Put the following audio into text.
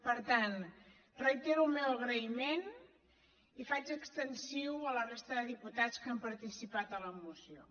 per tant reitero el meu agraïment i el faig extensiu a la resta de diputats que han participat en la moció